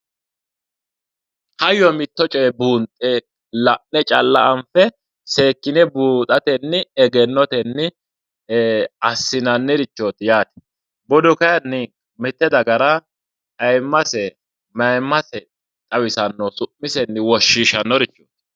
Hayyo mitto coye buunxe la'ne calla anfe seekkine buuxatenni egennotenni assinannirichoti yaate, budu kayinni mite dagara ayimmase mayimmase xawissanoho su'misenni woshshishanorichoti.